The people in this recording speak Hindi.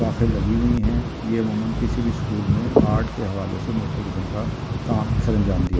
किसी भी स्कूल मैं आर्ट के हवाले से काम सरंजाम दिया --